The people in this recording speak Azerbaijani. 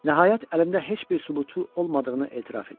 Nəhayət, əlində heç bir sübutu olmadığını etiraf edir.